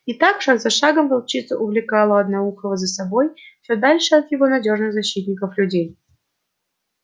и так шаг за шагом волчица увлекала одноухого за собой всё дальше от его надёжных защитников людей